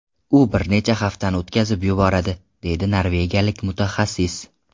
U bir necha haftani o‘tkazib yuboradi”, deydi norvegiyalik mutaxassis.